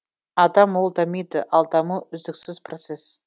адам ол дамиды ал даму үздіксіз процесс